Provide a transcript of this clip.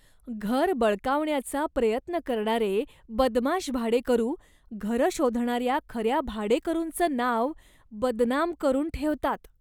घर बळकावण्याचा प्रयत्न करणारे बदमाश भाडेकरू घरं शोधणाऱ्या खऱ्या भाडेकरूंचं नाव बदनाम करून ठेवतात.